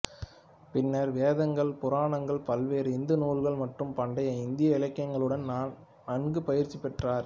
பின்னர் வேதங்கள் புராணங்கள் பல்வேறு இந்து நூல்கள் மற்றும் பண்டைய இந்திய இலக்கியங்களுடன் நன்கு பயிற்சி பெற்றார்